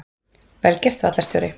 Vel gert vallarstjóri!